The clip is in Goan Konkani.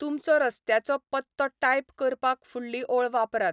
तुमचो रस्त्याचो पत्तो टाइप करपाक फुडली ओळ वापरात.